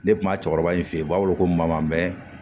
Ne kuma cɛkɔrɔba in fe yen u b'a weele ko mamɛn